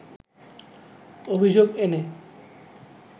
অভিযোগ এনে